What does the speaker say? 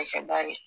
Nafa bannen